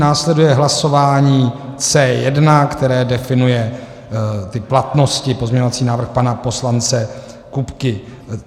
Následuje hlasování C1, které definuje ty platnosti - pozměňovací návrh pana poslance Kupky.